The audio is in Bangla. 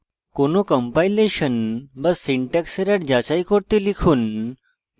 কোনো কম্পাইলেশন বা syntax error যাচাই করতে লিখুন